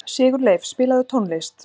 Sigurleif, spilaðu tónlist.